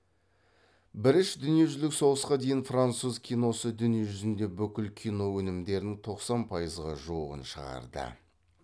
біріш дүниежүзілік соғысқа дейін француз киносы дүние жүзіндегі бүкіл кино өнімдерінің тоқсан пайызға жуығын шығарды